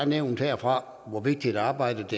nævnt herfra hvor vigtigt arbejdet